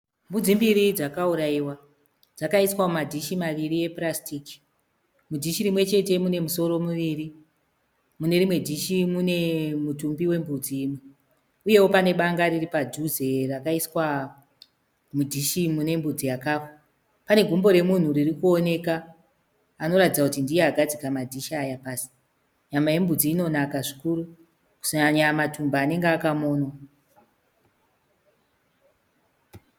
Mbudzi mbiri dzakurayiwa. Dzakaiswa mumadishi maviri epurasitiki. Mudishi rimwechete mune misoro miviri. Mune rimwe dishi mune mutumbi wembudzi imwe. Uyewo pane banga riripadhuze rakaiswa mudishi rine mbudzi yakafa. Pane gumbo ririkuoneka anoratidza kuti ndiye agadzika madish aya pasi. Nyama yembudzi inonaka zvikuru. Kunyanya matumbu anenge akamonwa.